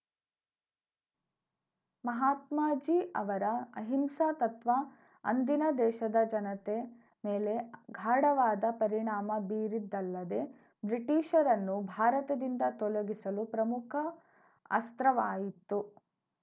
ಮಹಾತ್ಮಾಜೀ ಅವರ ಅಹಿಂಸಾ ತತ್ವ ಅಂದಿನ ದೇಶದ ಜನತೆ ಮೇಲೆ ಗಾಢವಾದ ಪರಿಣಾಮ ಬೀರಿದ್ದಲ್ಲದೆ ಬ್ರಿಟಿಷರನ್ನು ಭಾರತದಿಂದ ತೊಲಗಿಸಲು ಪ್ರಮುಖ ಅಸ್ರ್ತವಾಯಿತು